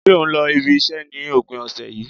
Ṣé o n lọ ibi iṣẹ́ ni opin ọ̀sẹ̀ yìí